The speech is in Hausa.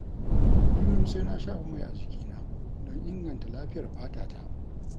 Kullum sai na shafa mai a jikina don inganta lafiyar fatata.